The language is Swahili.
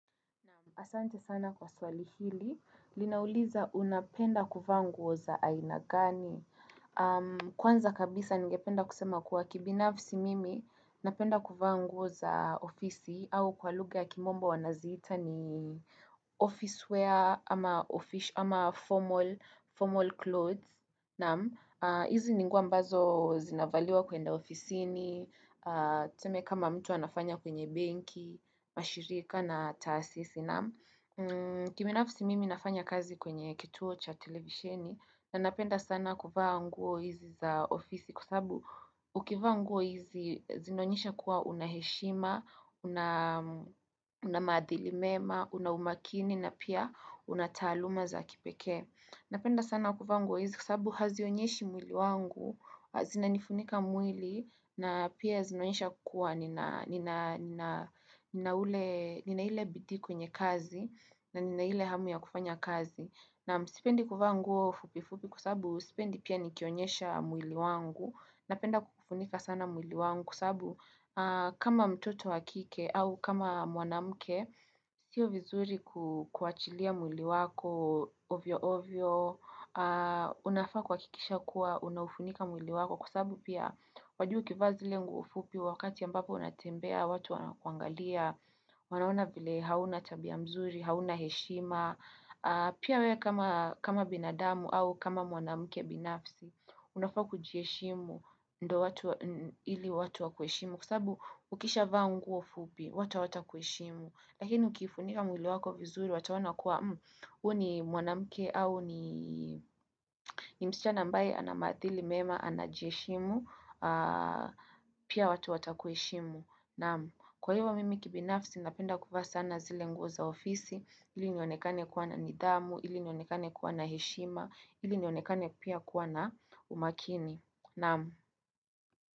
Asante sana kwa swali hili, linauliza unapenda kuvaa nguo za aina gani. Kwanza kabisa ningependa kusema kuwa kibinafisi mimi, napenda kuvaa nguo za ofisi au kwa lugha ya kimombo wanaziita ni office wear ama formal clothes. Naam, hizi ni nguo ambazo zinavaliwa kuenda ofisini tuseme kama mtu anafanya kwenye benki, mashirika na taasisi naam. Kibinafsi mimi nafanya kazi kwenye kituo cha televisheni na napenda sana kuvaa nguo hizi za ofisi kwa sababu ukivaa nguo hizi zinaonyesha kuwa una heshima, una maadhili mema, una umakini na pia una taaluma za kipekee. Napenda sana kuvaa nguo hizi kwa sababu hazionyeshi mwili wangu, zina nifunika mwili na pia zinaonyesha kua nina ule, nina ile bidii kwenye kazi na nina ile hamu ya kufanya kazi. Naam sipendi kuvaa nguo fupi fupi kwasabu sipendi pia nikionyesha mwili wangu, napenda kufunika sana mwili wangu kwasabu kama mtoto wakike au kama mwanamke, sio vizuri kuachilia mwili wako ovyo ovyo, unafaa kuhakikisha kuwa unaufunika mwili wako kwasabu pia wajua ukivaa zile nguo fupi wakati ambapo unatembea, watu wana kuangalia, wanaona vile hauna tabia mzuri, hauna heshima, Pia wewe kama binadamu au kama mwanamke binafsi unafaa kujiheshimu ndio watu ili watu wa kueshimu kwasabu ukisha vaa nguo fupi, watu hawata kuheshimu lakini ukiufunika mwili wako vizuri watu wataona kuwa Huyu ni mwanamke au ni msichana ambae anamadhili mema anajiheshimu Pia watu watu wata kuheshimu naam. Kwa hivo mimi kibinafsi napenda kuvaa sana zile nguo za ofisi ili nionekane kuwa na nidhamu, ili nionekane kuwa na heshima, ili nionekane pia kuwa na umakini.